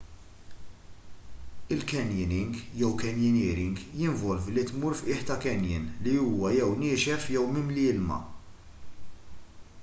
il-canyoning jew canyoneering jinvolvi li tmur f’qiegħ ta’ canyon li huwa jew niexef jew mimli ilma